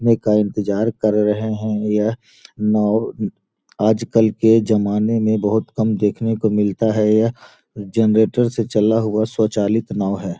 ने का इंतजार कर रहे है यह नाव आजकल के जमाने में बहुत कम देखने को मिलता है यह जेनरेटर से चला हुआ स्वचालित नाव है।